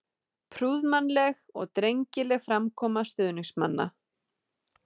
Prúðmannleg og drengileg framkoma stuðningsmanna.